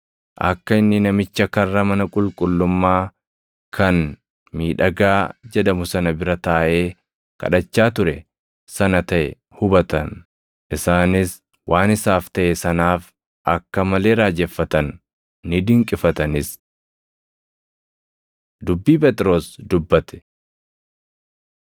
akka inni namicha karra mana qulqullummaa kan, “Miidhagaa” jedhamu sana bira taaʼee kadhachaa ture sana taʼe hubatan; isaanis waan isaaf taʼe sanaaf akka malee raajeffatan; ni dinqifatanis. Dubbii Phexros Dubbate